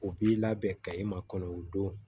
U b'i labɛn ka i makɔnɔ don